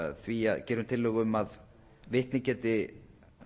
því gerum tillögu um að vitni geti